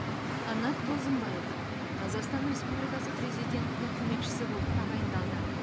қанат бозымбаев қазақстан республикасы президентінің көмекшісі болып тағайындалды